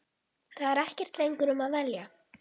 Það er ekkert lengur um að velja.